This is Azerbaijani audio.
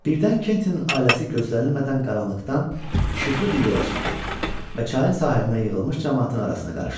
Birdən Kentin ailəsi gözlənilmədən qaranlıqdan işıqlı bir yerə çıxdı və çayın sahilinə yığılmış camaatın arasına qarışdılar.